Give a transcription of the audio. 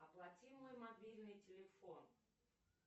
оплати мой мобильный телефон